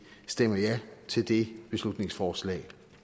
stemmer ja til det beslutningsforslag